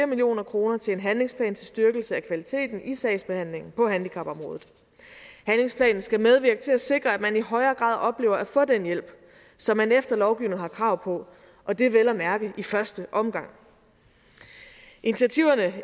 million kroner til en handlingsplan til styrkelse af kvaliteten i sagsbehandlingen på handicapområdet handlingsplanen skal medvirke til at sikre at man i højere grad oplever at få den hjælp som man efter lovgivningen har krav på og det vel at mærke i første omgang initiativerne